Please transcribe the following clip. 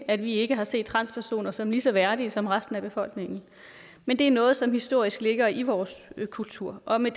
at vi ikke har set transpersoner som lige så værdige som resten af befolkningen men det er noget som historisk ligger i vores kultur og med